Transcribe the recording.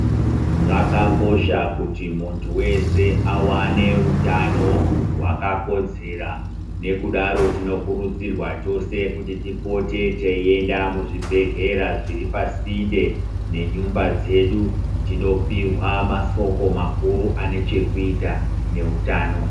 Zvakakosha kuti muntu veshe avane utano hwakakodzera nekudaro tinokurudzirwa tose kuti tipote teienda kuzvibhedhlera zviri pasinde nenyumba dzedu tinopihwa masoko makuru ane chekuita neutano .